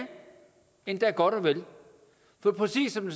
endda godt og vel for præcis som